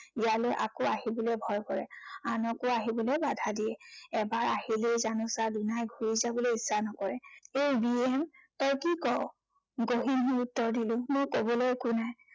ইয়ালৈ আকৌ আহিবলৈ ভয় কৰে। আনকো আহিবলৈ বাধা দিয়ে। এবাৰ আহিলেই জানোচা দুনাই ঘূৰি যাবলৈ ইচ্ছা নকৰে। এই বীৰসেন তই কি কৱ? গহীন হৈ উত্তৰ দিলো, মোৰ কবলৈ একো নাই।